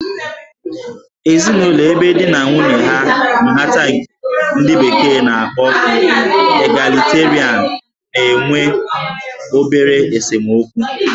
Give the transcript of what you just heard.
Ezinụlọ ebe di na nwunye ha nhata nke ndi bekee n'akpọ 'Egalitarian' na-enwe obere esemokwu